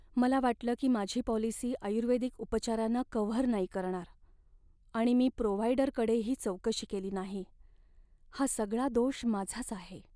मला वाटलं की माझी पॉलिसी आयुर्वेदिक उपचारांना कव्हर नाही करणार आणि मी प्रोव्हाईडरकडेही चौकशी केली नाही. हा सगळा दोष माझाच आहे.